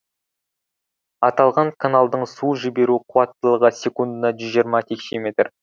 аталған каналдың су жіберу қуаттылығы секундына жүз жиырма текше метр